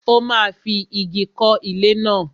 Ó máa fi ìgi kọ́ ilé náà.